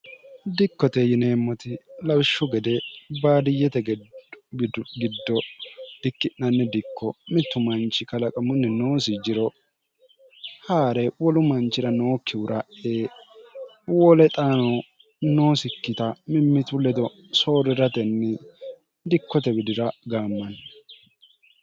dikkote yineemmoti lawishshu gede baadiyyete geddidgiddo dikki'nanni dikko mittu manchi kalaqamunni noosi jiro haa're wolu manchira nookkihura e wole xaano noosikkita mimmitu ledo sooriratenni dikkote widira gaammanni